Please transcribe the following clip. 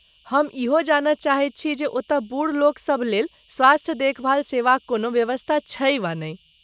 हम इहो जानय चाहैत छी जे ओतय बूढ़ लोकसभ लेल स्वास्थ्य देखभाल सेवाक कोनो व्यवस्था छै वा नहि?